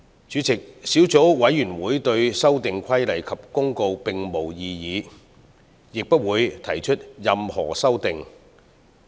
主席，小組委員會對兩項附屬法例並無異議，亦不會提出任何修訂。